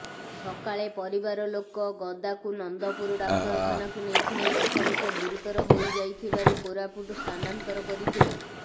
ସକାଳେ ପରିବାର ଲୋକ ଗଦାକୁ ନନ୍ଦପୁର ଡାକ୍ତରଖାନାକୁ ନେଇଥିଲେ ସେଠାରେ ସେ ଗୁରୁତର ହୋଇଯାଇଥିବାରୁ କୋରାପୁଟ ସ୍ଥାନାନ୍ତର କରିଥିଲେ